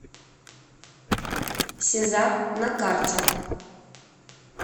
сезар на карте